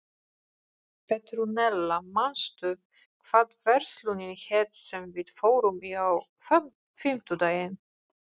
Petrúnella, manstu hvað verslunin hét sem við fórum í á fimmtudaginn?